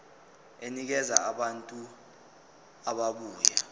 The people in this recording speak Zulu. enikeza abantu ababuya